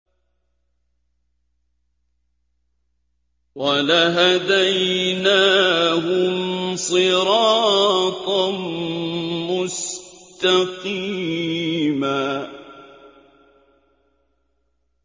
وَلَهَدَيْنَاهُمْ صِرَاطًا مُّسْتَقِيمًا